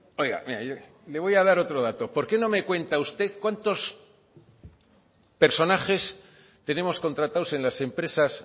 oiga mire yo le voy a dar otro dato por qué no me cuenta usted cuántos personajes tenemos contratados en las empresas